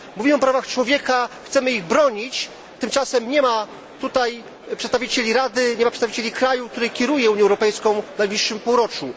Mówimy o prawach człowieka, chcemy ich bronić, tymczasem nie ma tutaj przedstawicieli Rady, nie ma przedstawicieli kraju, który kieruje Unią Europejską w najbliższym półroczu.